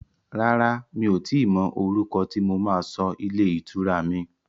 Rárá, mi ò tíì mọ orúkọ tí mo máa sọ ilé ìtura mi.